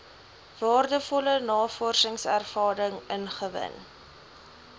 waardevolle navorsingservaring ingewin